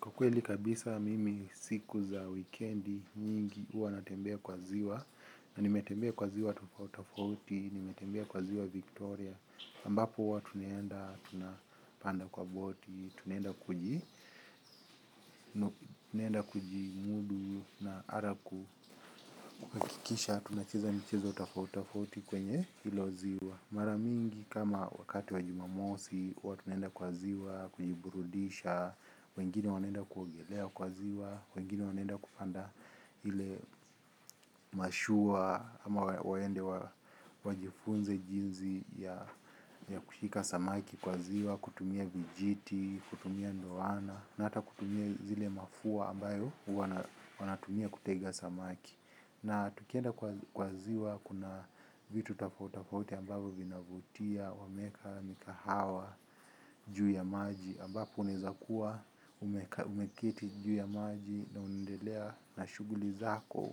Kwa kweli kabisa mimi siku za weekend nyingi huwa natembea kwa ziwa. Na nimetembea kwa ziwa tofauti tofauti, nimetembea kwa ziwa Victoria. Ambapo huwa tunaenda, tunapanda kwa boti, tunaenda kuji, tunaenda kuji mudu na ara kuhakikisha. Tunacheza michezo tofauti tofauti kwenye hilo ziwa. Mara mingi kama wakati wa jumamosi, huwa tunaenda kwa ziwa, kujiburudisha, wengine wanaenda kuogelea kwa ziwa, wengine wanaenda kupanda hile mashua ama waende wajifunze jinsi ya kushika samaki kwa ziwa, kutumia vijiti, kutumia ndoana, na ata kutumia zile mafua ambayo wanatumia kutega samaki. Na tukienda kwa ziwa kuna vitu tofauti tofauti ambavyo vinavutia, wameweka, mikahawa, juu ya maji ambapo unaweza kuwa, umeketi juu ya maji na unendelea na shughuli zako.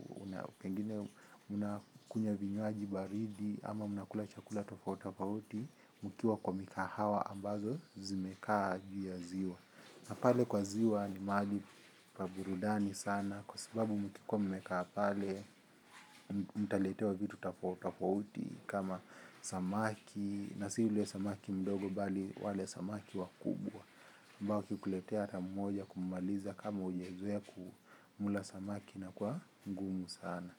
Pengine unakunywa vinywaji baridi ama unakula chakula tofautafauti mkiwa kwa mikahawa ambazo zimekaa juu ya ziwa. Na pale kwa ziwa ni mahali pa burudani sana kwa sababu mkikuwa mmekaa pale mtaletewa vitu tafauti tofauti kama samaki na si yule samaki mdogo bali wale samaki wakubwa mbaki kuletea ata mmoja kummaliza kama ujezoe kumula samaki na kwa mgumu sana.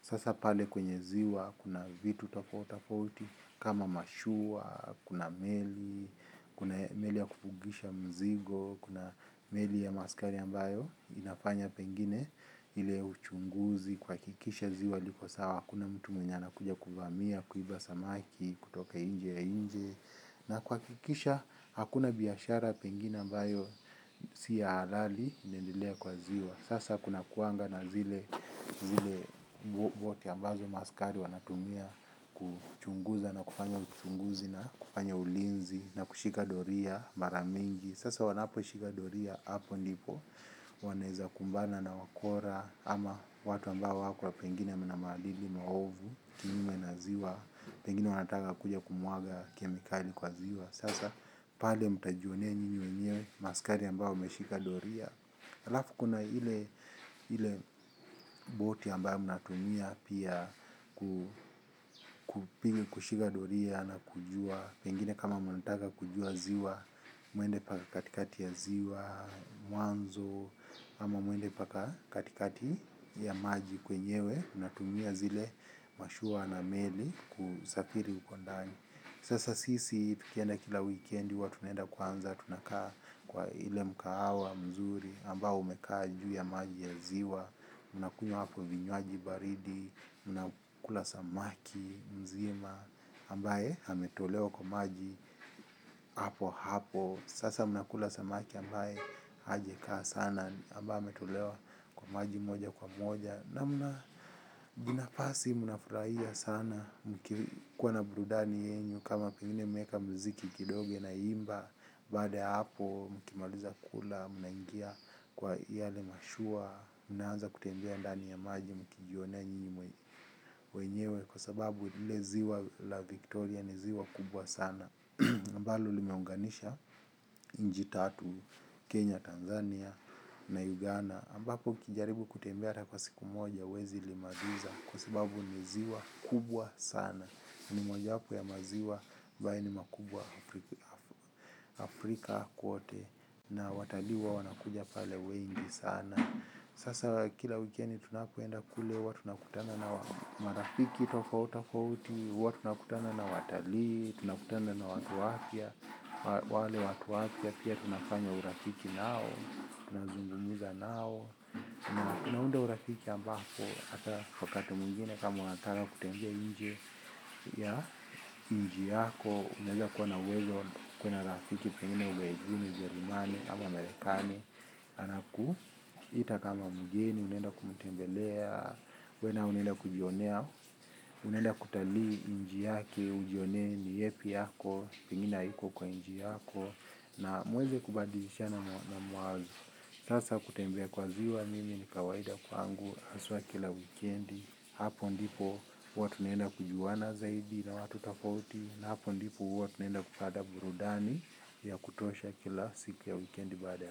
Sasa pale kwenye ziwa, kuna vitu tofauti tofauti kama mashua, kuna meli, kuna meli ya kupugisha mzigo, kuna meli ya maaskari ambayo, inafanya pengine, ile uchunguzi, kuhakikisha ziwa liko sawa, hakuna mtu mwenye anakuja kuvamia, kuiba samaki, kutoka nje ya inchi, na kuhakikisha, hakuna biashara pengine ambayo, si ya halali, inendelea kwa ziwa. Sasa kuna kuanga na zile bote ambazo maaskari wanatumia kuchunguza na kufanya uchunguzi na kufanya ulinzi na kushika doria mara mingi. Sasa wanaposhika doria hapo ndipo wanaweza kumbana na wakora ama watu ambao wakua pengine na maadili maovu kinyume na ziwa pengine wanataka kuja kumwaga kemikali kwa ziwa. Sasa, pale mtajionea ninyi wenyewe maaskari ambao wameshika doria. Alafu kuna ile boti ambayo mnatumia pia kushika doria na kujua pengine kama munataka kujua ziwa, muende mpaka katikati ya ziwa, mwanzo ama mwende mpaka katikati ya maji kwenyewe mnatumia zile mashua na meli kusafiri uko ndani. Sasa sisi tukienda kila weekend huwa tunaenda kwanza tunakaa kwa ile mkahawa mzuri ambao umekaa juu ya maji ya ziwa. Mnakunywa hapo vinywaji baridi, mnakula samaki mzima ambaye hametolewa kwa maji hapo hapo. Sasa mnakula samaki ambaye hajakaa sana ambaye ametolewa kwa maji moja kwa moja. Na mnajinafasi mnafurahia sana kwa nabrudani yenyu kama pingine mweka mziki kidoge na imba. Baada ya hapo mkimaliza kula mnaingia kwa yale mashua. Mnaanza kutembea ndani ya maji mkijuone njini mwenyewe. Kwa sababu leziwa la Victoria niziwa kubwa sana ambalo limeonganisha nchi tatu. Kenya, Tanzania na Uganda ambapo ukijaribu kutembea hata kwa siku moja huwezi limaliza kwa sababu ni ziwa kubwa sana. Ni moja wahapo ya maziwa ambayo ni makubwa Afrika kote na watalii huwa wanakuja pale wengi sana. Sasa kila weekendi tunakoenda kule huwa tunakutana na marafiki tofauti tofauti, watu nakutana na watalii, tunakutana na watu wapya. Wale watu wapya pia tunafanya urafiki nao tunazungumza nao naunaunda urafiki ambako watakati mwingine kama unataka kutembe nje ya inchi yako unawenda kuwa na uwezo kuwa na rafiki pengine ughaubuni, ujemani ama amerikani anakuita kama mgeni unenda kumutembelea unenda kujionea unenda kutali inji yake ujione ni yepi yako pingina hiko kwa inji yako na mweze kubadishana na mwazi sasa kutembea kwa ziwa mimi ni kawaida kwa angu aswa kila wikendi hapo ndipo huwa tunenda kujuana zaidi na watu tofauti na hapo ndipo huwa tunenda kupata burudani ya kutosha kila siki ya wikendi bada.